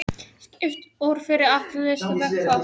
Skipt út fyrir hættulausan vökva